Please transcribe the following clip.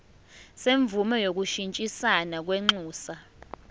semvume yokushintshisana kwinxusa